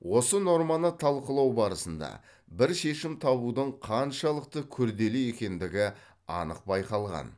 осы норманы талқылау барысында бір шешім табудың қаншалықты күрделі екендігі анық байқалған